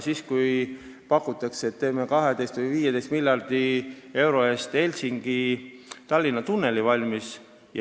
Meile pakutakse, et teeme 12 või 15 miljardi euro eest Helsingi ja Tallinna vahel tunneli valmis.